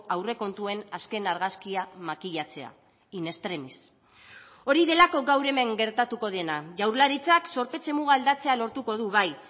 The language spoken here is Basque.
aurrekontuen azken argazkia makilatzea in extremis hori delako gaur hemen gertatuko dena jaurlaritzak zorpetze muga aldatzea lortuko du bai